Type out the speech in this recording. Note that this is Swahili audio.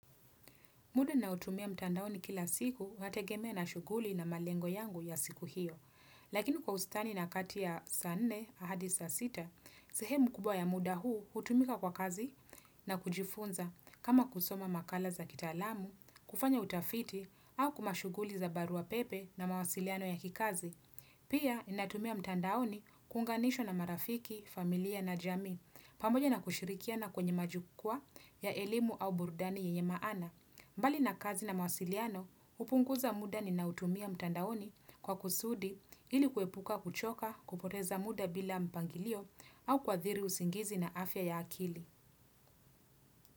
Muda naotumia mtandaoni kila siku wategemea na shughuli na malengo yangu ya siku hiyo. Lakini kwa ustani na kati ya saa nne na hadi sa sita, sehemu kubwa ya muda huu hutumika kwa kazi na kujifunza kama kusoma makala za kitaalamu, kufanya utafiti au kwa mashughuli za barua pepe na mawasiliano ya kikazi. Pia ninatumia mtandaoni kuunganishwa na marafiki, familia na jamii, pamoja na kushirikiana kwenye majukwa ya elimu au burudani yenye maana. Mbali na kazi na mawasiliano, hupunguza muda ninaotumia mtandaoni kwa kusudi ili kuepuka kuchoka kupoteza muda bila mpangilio au kuadhiri usingizi na afya ya akili.